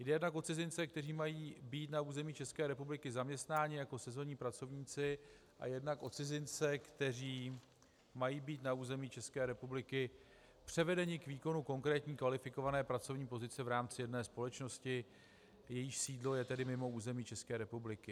Jde jednak o cizince, kteří mají být na území České republiky zaměstnáni jako sezónní pracovníci, a jednak o cizince, kteří mají být na území České republiky převedeni k výkonu konkrétní kvalifikované pracovní pozice v rámci jedné společnosti, jejíž sídlo je tedy mimo území České republiky.